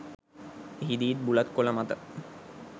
එහිදීත් බුලත් කොළ මත